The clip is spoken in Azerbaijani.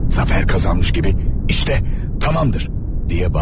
Zəfər qazanmış kimi işdə, tamamdır!